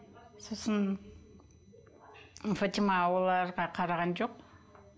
сосын фатима оларға қараған жоқ